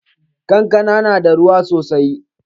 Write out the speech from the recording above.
Kankana na da ruwa sosai.